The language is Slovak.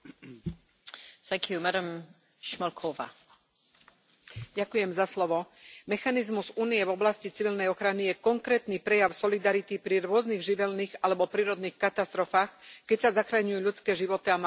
Vážená pani predsedajúca, mechanizmus Únie v oblasti civilnej ochrany je konkrétny prejav solidarity pri rôznych živelných alebo prírodných katastrofách, keď sa zachraňujú ľudské životy a materiálne hodnoty.